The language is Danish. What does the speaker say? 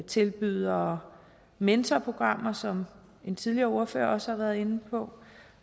tilbyder mentorprogrammer som en tidligere ordfører også har været inde på